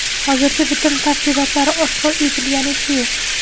Hozircha bitim tafsilotlari oshkor etilganicha yo‘q.